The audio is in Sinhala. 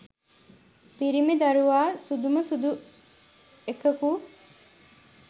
පිරිමි දරුවා සුදුම සුදු එකකු